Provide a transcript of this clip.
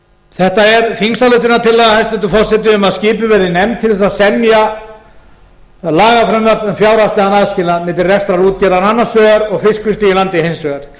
þetta er þingsályktunartillaga hæstvirtur forseti um að skipuð verði nefnd til þess að að semja lagafrumvarp um fjárhagslegan aðskilnað milli reksturs útgerðar annars vegar og fiskvinnslu í landi hins vegar